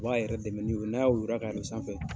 U b'a yɛrɛ dɛmɛ ni o ye n'a woyora ka yɛlɛ sanfɛ.